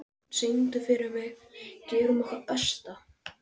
Sjöfn, syngdu fyrir mig „Gerum okkar besta“.